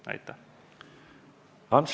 Ants Laaneots.